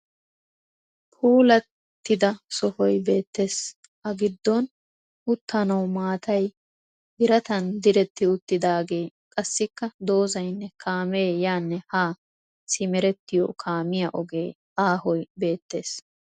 Puulattida sohoy beettes. A giddon uttanawu maatay biratan diretti uttiidaagee qassikka dozzaynne kaamee yaanne haa simerettiyo kaamiya ogee aahoy beettes.